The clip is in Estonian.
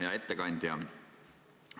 Hea ettekandja!